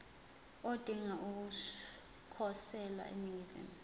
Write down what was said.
odinga ukukhosela eningizimu